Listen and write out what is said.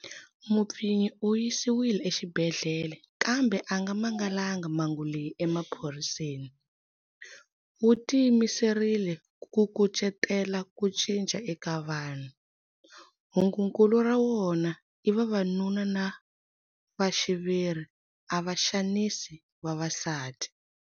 Mupfinyi u yisiwile exibedhlele kambe a nga mangalangi mhangu leyi emaphoriseni. Wu tiyimiserile ku kucetela ku cinca eka vanhu. Hungukulu ra wona i 'Vavanuna na va xiviri a va xanisi vavasati'.